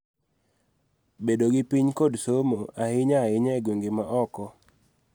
Bedo gi piny, kod somo, ahinya ahinya e gwenge ma oko.